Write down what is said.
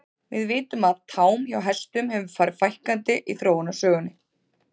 Við vitum að tám hjá hestum hefur farið fækkandi í þróunarsögunni.